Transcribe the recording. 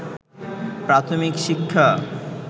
প্রাথমিক শিক্ষা